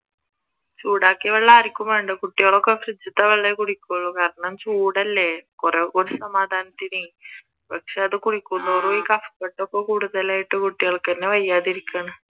ചൂടാക്കിയ വെള്ളം ആർക്കും വേണ്ട കുട്ടികളൊക്കെ ഫ്രിഡ്ജിലത്തെ വെള്ളമേ കുടിക്കൂള് കാരണം ചൂടല്ലേ കുറെ കൂടി സമാധാനത്തിനെ പക്ഷെ അത് കുടിക്കുന്തോറും ഈ കഫക്കെട്ട് ഒക്കെ കൂടുതലായിട്ട് കുട്ടികൾക്ക്ന്നേ വയ്യാതെയിരിക്കുകയാണ്